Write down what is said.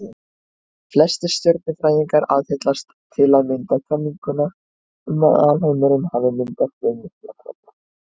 Flestir stjörnufræðingar aðhyllast til að mynda kenninguna um að alheimurinn hafi myndast við Miklahvell.